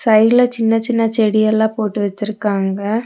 சைடுலெ சின்ன சின்ன செடியெல்லா போட்டு வச்சிருக்காங்க.